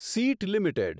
seat limited